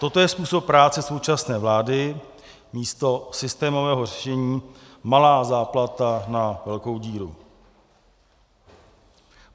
Toto je způsob práce současné vlády, místo systémového řešení malá záplata na velkou díru.